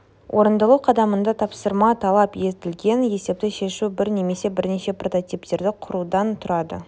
орындалу қадамында тапсырма талап етілген есепті шешу бір немесе бірнеше прототиптерді құрудан тұрады